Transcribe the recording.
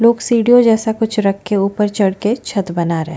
लोग सीढ़ियों जैसे कुछ रखे ऊपर चढ़ के छत बना रहे है।